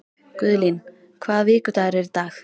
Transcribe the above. Guðlín, hvaða vikudagur er í dag?